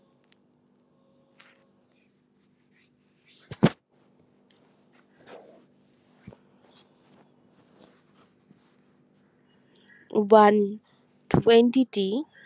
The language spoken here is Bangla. one twenty